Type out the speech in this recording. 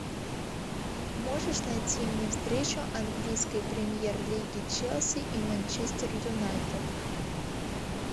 можешь найти мне встречу английской премьер лиги челси и манчестер юнайтед